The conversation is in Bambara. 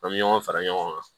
An bɛ ɲɔgɔn fara ɲɔgɔn kan